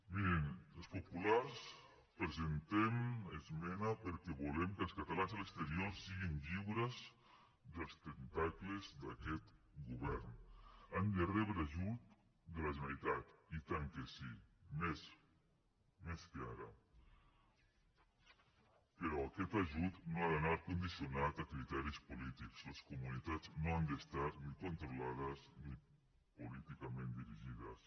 mirin els populars presentem esmena perquè volem que els catalans a l’exterior siguin lliures dels tentacles d’aquest govern han de rebre ajut de la generalitat i tant que sí més més que ara però aquest ajut no ha d’anar condicionat a criteris polítics les comunitats no han d’estar ni controlades ni políticament dirigides